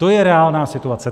To je reálná situace.